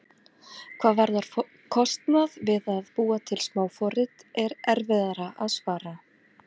Hvað varðar kostnað við að búa til smáforrit er erfiðara að svara.